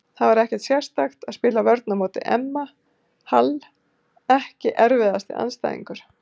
Það er ekkert sérstakt að spila vörn á móti Emma Hall Ekki erfiðasti andstæðingur?